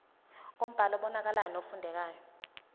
ngombhalo obonakalayo nofundekayo